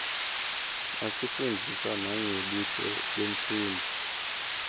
asifundzisa nangebuhle bemfunduo